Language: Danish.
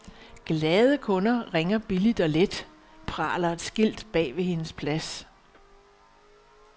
Glade kunder ringer billigt og let, praler et skilt bagved hendes plads.